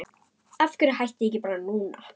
Af hverju hætti ég ekki bara núna?